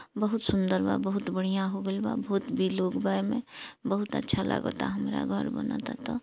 बहुत सुंदर बा बहुत बढ़िया हो गईल बा बहुत भी लोग बा एमे बहुत अच्छा लागाता हमरा घर बनत ऐता।